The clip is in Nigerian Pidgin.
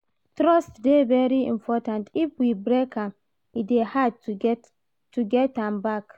Trust dey very important, if we break am e dey hard to get am back